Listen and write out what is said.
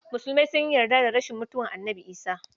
Musulmi sun yi yarda da rashin mutuwar Annabi Isah.